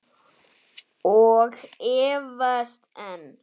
Og efast enn.